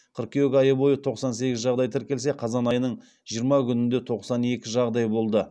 қыркүйек айы бойы тоқсан сегіз жағдай тіркелсе қазан айының жиырма күнінде тоқсан екі жағдай болды